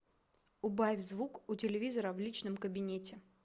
убавь звук у телевизора в личном кабинете